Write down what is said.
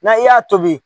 Na i y'a tobi